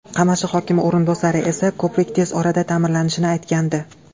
Qamashi hokimi o‘rinbosari esa ko‘prik tez orada ta’mirlanishini aytgandi.